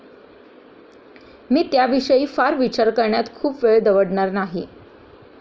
मी त्याविषयी फार विचार करण्यात खूप वेळ दवडणार नाही.